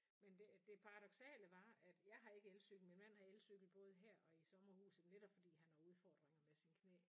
Men det det paradoksale var at jeg har ikke elcykel min mand har elcykel både her og i sommerhuset netop fordi at han har udfordringer med sine knæ